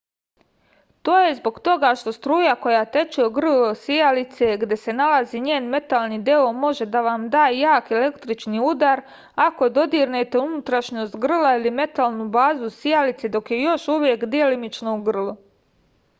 to je zbog toga što struja koja teče u grlo sijalice gde se nalazi njen metalni deo može da vam da jak električni udar ako dodirnete unutrašnjost grla ili metalnu bazu sijalice dok je još uvek delimično u grlu